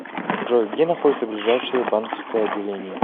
джой где находится ближайшее банковское отделение